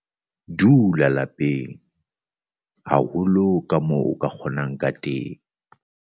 Dula lapeng haholo kamoo o ka kgonang ka teng.